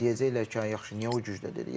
Hə deyəcəklər ki, ha yaxşı niyə o gücdə dedi.